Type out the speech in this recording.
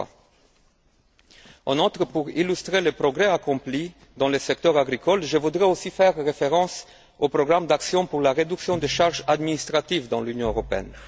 2003. En outre, pour illustrer le progrès accompli dans le secteur agricole, je voudrais aussi faire référence au programme d'action pour la réduction des charges administratives dans l'Union européenne.